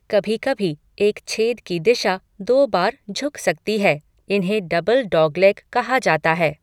कभी कभी, एक छेद की दिशा दो बार झुक सकती है इन्हें 'डबल डॉगलेग' कहा जाता है।